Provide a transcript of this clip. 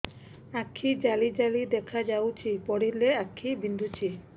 ଆଖି ଜାଲି ଜାଲି ଦେଖାଯାଉଛି ପଢିଲେ ଆଖି ବିନ୍ଧୁଛି